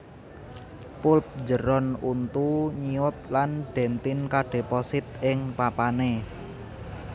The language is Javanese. Pulp njeron untu nyiut lan dentin kadheposit ing papané